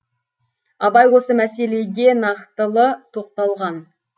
абай осы мәселеге нақтылы тоқталған